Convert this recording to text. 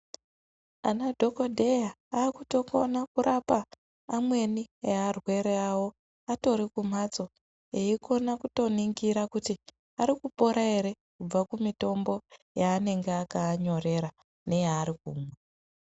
Ana dhokodheya aakutokona kurapa amweni earwere awo atori kumbatso eikona kutoningira kuti arikupora ere kubva kumutombo yaanenge akaanyorera neyaarikumwa.